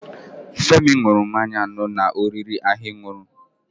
Femi n̄ụrụ mmanya anọ na oriri ahụn̄ụrụ